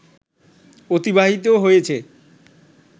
অতিবাহিত হয়েছে